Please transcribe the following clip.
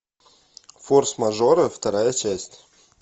форс мажоры вторая часть